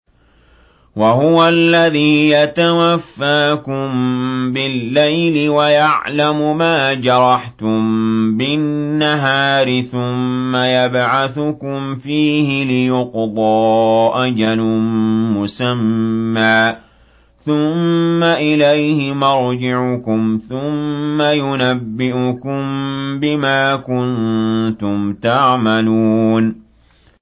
وَهُوَ الَّذِي يَتَوَفَّاكُم بِاللَّيْلِ وَيَعْلَمُ مَا جَرَحْتُم بِالنَّهَارِ ثُمَّ يَبْعَثُكُمْ فِيهِ لِيُقْضَىٰ أَجَلٌ مُّسَمًّى ۖ ثُمَّ إِلَيْهِ مَرْجِعُكُمْ ثُمَّ يُنَبِّئُكُم بِمَا كُنتُمْ تَعْمَلُونَ